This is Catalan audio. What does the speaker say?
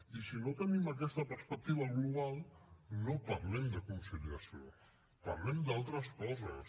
i si no tenim aquesta perspectiva global no parlem de conciliació parlem d’altres coses